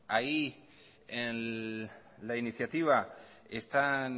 ahí en la iniciativa están